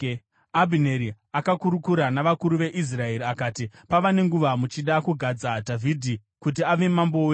Abhineri akakurukura navakuru veIsraeri akati, “Pava nenguva muchida kugadza Dhavhidhi kuti ave mambo wenyu.